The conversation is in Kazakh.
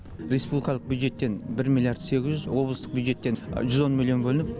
республикалық бюджеттен бір миллиард сегіз жүз облыстық бюджеттен жүз он миллион бөлініп